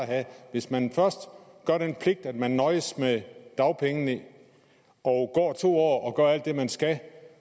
hvis man først gør den pligt at man nøjes med dagpengene og går to år og gør alt det man skal